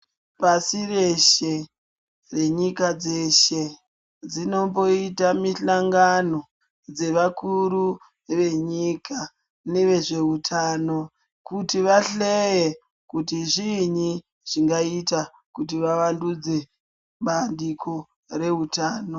Pasi reshe nenyika dzeshe dzinomboita mihlangano dzevakuru venyika nevezveutano kuti vahleye kuti chiinyi zvingaite kuti vawandudze bandiko reutano.